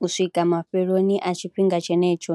u swika mafheloni a tshifhinga tshenetsho.